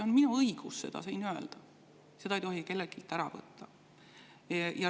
Mul on õigus seda siin öelda, seda ei tohi kelleltki ära võtta.